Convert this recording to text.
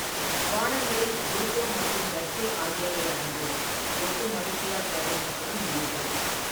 பானங்களில் ஜூத்தோ மற்றும் டட்ஸே ஆகியவை அடங்கும், ஒட்டும் அரிசியால் தயாரிக்கப்படும் பீர்கள்.